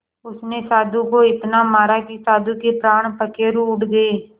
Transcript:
उसने साधु को इतना मारा कि साधु के प्राण पखेरु उड़ गए